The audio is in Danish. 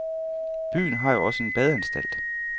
Byen har jo også en badeanstalt.